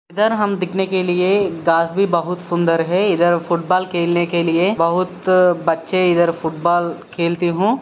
इधर हम दिखने के लिए घास भी बहुत सुंदर है। इधर फूट बोल्ल खेलने के लिए बहुत बच्चे इधर फुटबाल खेलते हु--